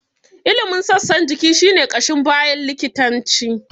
Ilimin sassan jiki shi ne ƙashin baya likitanci.